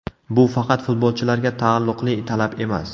Bu faqat futbolchilarga taalluqli talab emas.